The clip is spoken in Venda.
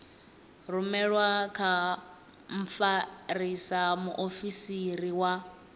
rumelwe kha mfarisa muofisiri wa